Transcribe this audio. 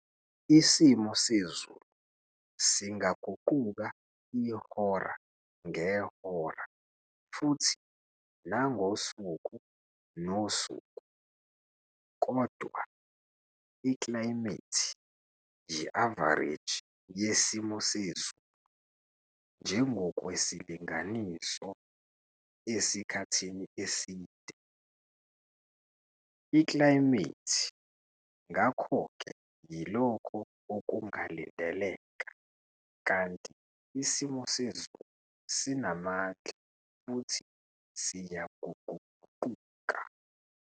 Isimo sezulu singaguquka ihora ngehora futhi nangosuku nosuku, kodwa iklayimethi yi-avareji yesimo sezulu njengokwesilinganiso esikhathini eside. Iklayimethi ngakho ke yilokho okungalindeleka, kanti isimo sezulu sinamandla futhi siyaguquguquka.